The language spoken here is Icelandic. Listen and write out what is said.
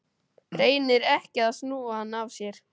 Reynir ekki að snúa hann af sér.